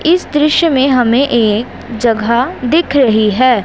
इस दृश्य में हमें एक जगह दिख रही है।